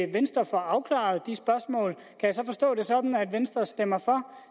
venstre får afklaret de spørgsmål kan jeg så forstå det sådan at venstre stemmer